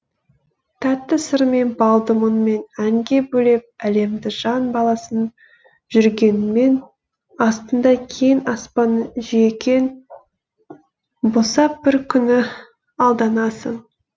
тәтті сырмен балды мұңмен әнге бөлеп әлемді жан баласын жүргеніңмен астында кең аспанның жүйкең босап бір күні алданасың